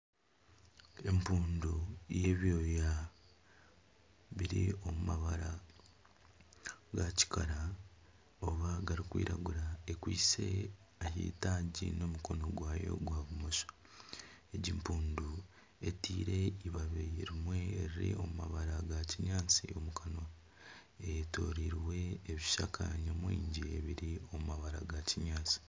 Empundu y'ebyoya biri omu mabara ga kikara oba garikwiragura ekwiste ahitaagi n'omukono gwayo gwa bumosho. Egi mpundu eteire ibabi rimwe eri omu mabara ga kinyaatsi omukanwa eyetorirwe ebishaka nyamwingi ebiri omu mabara ga kinyaatsi.